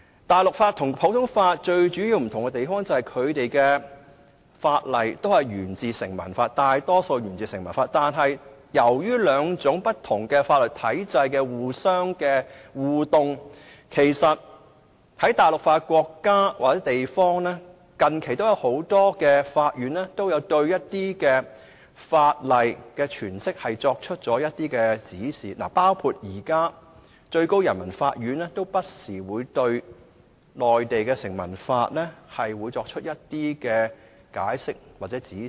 大陸法和普通法最主要的差異，在於大陸法大多數法例都沿自成文法，但由於這兩套法律體系不斷互動，很多實行大陸法的國家或地方的法院近期都有就一些法例的詮釋作出指示，包括現時最高人民法院不時會就內地的成文法作出解釋或指示。